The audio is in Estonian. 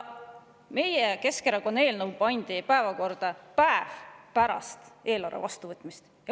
Meie, Keskerakonna eelnõu pandi päevakorda päev pärast eelarve vastuvõtmist.